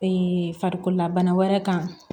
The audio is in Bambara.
farikololabana wɛrɛ kan